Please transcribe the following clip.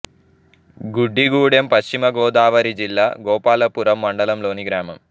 గుడ్డిగూడెం పశ్చిమ గోదావరి జిల్లా గోపాలపురం మండలం లోని గ్రామం